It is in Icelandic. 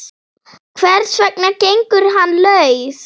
Hvers vegna gengur hann laus?